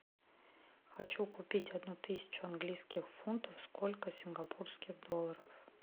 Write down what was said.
хочу купить одну тысячу английских фунтов сколько сингапурских долларов